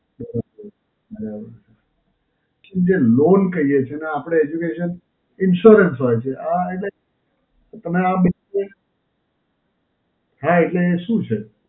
બરોબર, right. જે loan કહીએ છે અને આપડે Education Insurance હોય છે. આ એટલે પણ આ હાં એટલે એ શું છે?